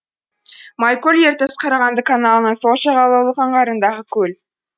майкөл ертіс қарағанды каналының сол жағалаулық аңғарындағы көл